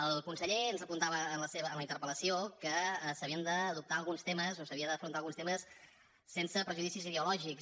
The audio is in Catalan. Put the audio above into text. el conseller ens apuntava en la interpel·lació que s’havien d’adoptar alguns temes o que s’havien d’afrontar alguns temes sense prejudicis ideològics